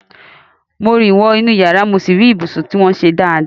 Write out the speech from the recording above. Mo rìn wọ inú yàrá mo sì rí ibùsùn tí wọ́n ṣe dáadáa.